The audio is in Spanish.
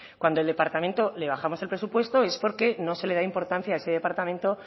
cuando al departamento le bajamos el presupuesto es porque no se le da importancia a ese departamento